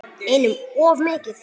Einum of mikið.